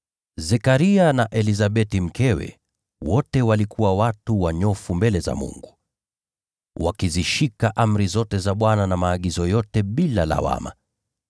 Zekaria na Elizabeti mkewe wote walikuwa watu wanyofu mbele za Mungu, wakizishika amri zote za Bwana na maagizo yote bila lawama.